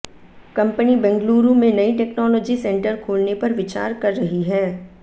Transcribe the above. company Bengaluru में नई technology centre खोलने पर विचार कर रही है